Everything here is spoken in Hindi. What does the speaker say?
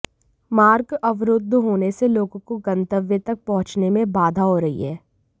मार्ग अवरुद्ध होने से लोगों को गंतव्य तक पहुंचने में बाधा हो रही है